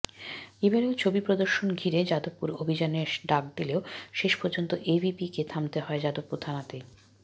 এবারও ছবি প্রদর্শন ঘিরে যাদবপুর অভিযানের ডাক দিলেও শেষপর্যন্ত এভিবিপিকে থামতে হয় যাদবপুর থানাতেই